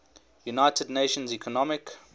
united nations economic